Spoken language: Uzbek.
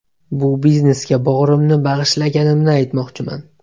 Bu biznesga borimni bag‘ishlaganimni aytmoqchiman.